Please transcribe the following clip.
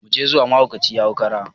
Muje zuwa mahaukaci ya hau kura!